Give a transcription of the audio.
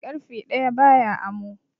Ƙarfe ɗaya ba ya amo.